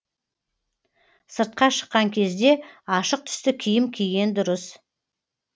сыртқа шыққан кезде ашық түсті киім киген дұрыс